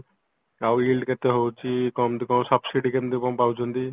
ଆଉ କେତେ ହଉଚି କେମତି କଣ subside କିମିତି କଣ ପାଉଚନ୍ତି